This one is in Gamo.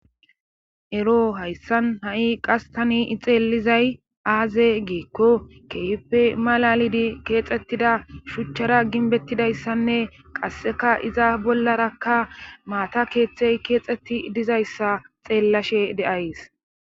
Ero hayssan ha'i qas tani ixeelizay aaze geekko keehippe malalidi keexxettida shuchchara ginbettidayssanne qasseka iza bollarakka maata keeththey keexxetti dizayssa xeellashe de'ays.